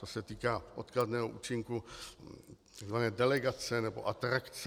To se týká odkladného účinku tzv. delegace nebo atrakce.